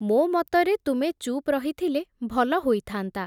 ମୋ ମତରେ ତୁମେ ଚୁପ୍ ରହିଥିଲେ ଭଲ ହୋଇଥାନ୍ତା ।